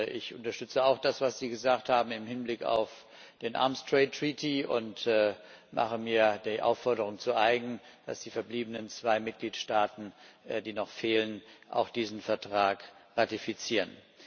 Ich unterstütze auch das, was Sie gesagt haben im Hinblick auf den Waffenhandelsvertrag und mache mir die Aufforderung zu eigen, dass auch die verbliebenen zwei Mitgliedstaaten, die noch fehlen, diesen Vertrag ratifizieren.